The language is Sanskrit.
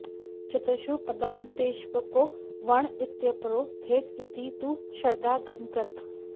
चतुषु पदान्तेष्वेको वर्ण इत्यपरो भेद इति तु शरदागमकृत्